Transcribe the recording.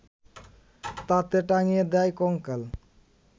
তাতে টাঙিয়ে দেয় কঙ্কাল